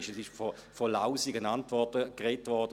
Es wurde von «lausigen Antworten» gesprochen;